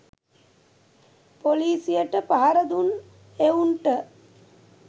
පොලිසියට පහර දුන් එවුන්ට